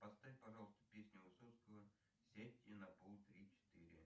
поставь пожалуйста песню высоцкого сядьте на пол три четыре